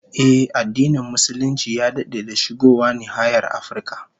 Ehh, addinin Musulunci ya dade da shigowa nahiyar Afirka